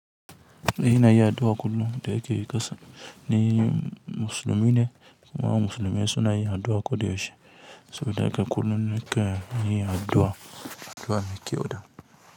Ina yin addu'a kullum da ake yi ƙasan ni musulmi ne kuma musulmai suna yin addu'a koyaushe saboda haka kullum na ke yin addu'a, addu'a me kyau da.